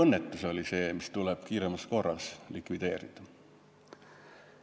Nii et see oli tööõnnetus, mis tuleb kiiremas korras likvideerida.